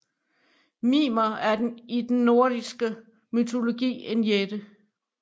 Mimer er i den nordiske mytologi en jætte